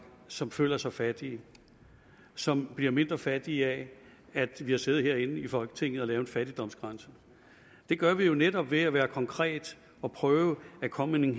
som føler sig fattige som bliver mindre fattige af at vi har siddet herinde i folketinget og lavet en fattigdomsgrænse det gør vi jo netop ved at være konkrete og prøve at komme med